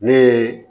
Ne ye